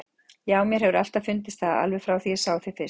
Já, mér hefur alltaf fundist það, alveg frá því ég sá þig fyrst.